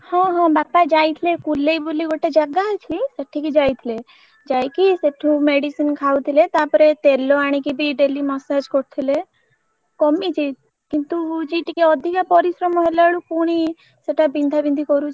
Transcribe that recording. ହଁ ହଁ ବାପା ଯାଇଥିଲେ କୁଲେଇ ବୋଲି ଗୋଟେ ଜାଗା ଅଛି ସେଠିକି ଯାଇଥିଲେ ଯାଇକି ସେଠୁ medicine ଖାଉଥଲେ ତାପରେ ତେଲ ଆଣିକି ବି daily massage କରୁଥିଲେ କମିଛି କିନ୍ତୁ ହଉଛି ଟିକେ ଅଧିକା ପରିଶ୍ରମ ହେଲା ବେଳକୁ ପୁଣି ସେଟା ବିନ୍ଧାବିନ୍ଧି କରୁଛି।